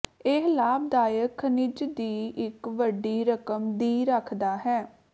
ਇਹ ਲਾਭਦਾਇਕ ਖਣਿਜ ਦੀ ਇੱਕ ਵੱਡੀ ਰਕਮ ਦੀ ਰੱਖਦਾ ਹੈ